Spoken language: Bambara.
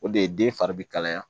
O de ye den fari bi kalaya